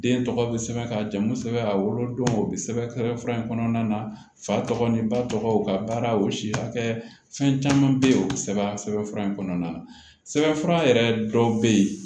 Den tɔgɔ be sɛbɛn ka jamu sɛbɛn a wolo don o bi sɛbɛn fura in kɔnɔna na fa tɔgɔ ni ba tɔgɔw ka baara o si hakɛ fɛn caman be yen o bi sɛbɛn sɛbɛn fura in kɔnɔna na sɛbɛnfura yɛrɛ dɔw be yen